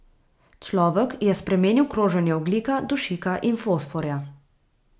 Človek je spremenil kroženje ogljika, dušika in fosforja.